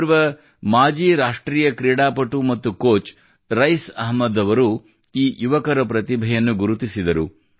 ಓರ್ವ ಮಾಜಿ ರಾಷ್ಟ್ರೀಯ ಕ್ರೀಡಾಪಟು ಮತ್ತು ಕೋಚ್ ರೈಸ್ ಅಹಮದ್ ಅವರು ಈ ಯುವಕರ ಪ್ರತಿಭೆಯನ್ನು ಗುರುತಿಸಿದರು